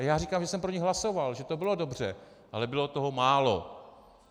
A já říkám, že jsem pro ni hlasoval, že to bylo dobře, ale bylo toho málo.